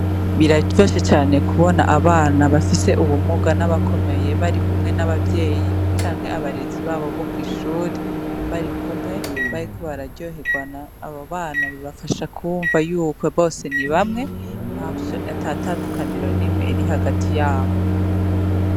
Biraryoshe cane kubona abana bafise ubumuga n'abakomeye barikumwe n'abavyeyi ,canke abarezi babo bo kw'ishuri ,barikumwe, bariko bararyoherwana ,abo bana bibafasha kwumva ko bose ni bamwe atatandukaniro nimwe iri hagati yabo.